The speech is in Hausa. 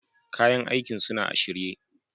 Kayan aikin suna a shirye.